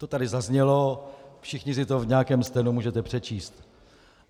To tady zaznělo, všichni si to v nějakém stenu můžete přečíst.